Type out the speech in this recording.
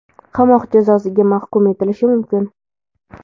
qamoq jazosiga mahkum etilishi mumkin.